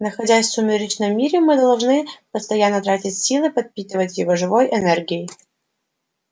находясь в сумеречном мире мы должны постоянно тратить силы подпитывать его живой энергией